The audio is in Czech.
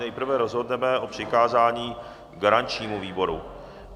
Nejprve rozhodneme o přikázání garančnímu výboru.